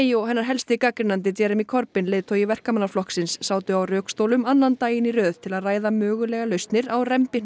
og hennar helsti gagnrýnandi Jeremy Cobyn leiðtogi Verkamannaflokksins sátu á rökstólum annan daginn í röð til að ræða mögulegar lausnir á